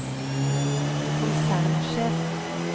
konsernsjef